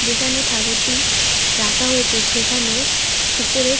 এখানে ঠাকুরটি রাখা হয়েছে সেখানে উপরে--